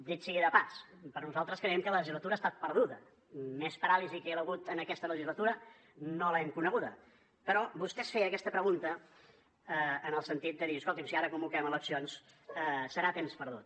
dit sigui de pas nosaltres creiem que la legislatura ha estat perduda més paràlisi que hi ha hagut en aquesta legislatura no l’hem coneguda però vostè es feia aquesta pregunta en el sentit de dir escolti’m si ara convoquem eleccions serà temps perdut